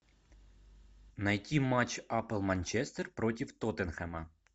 найти матч апл манчестер против тоттенхэма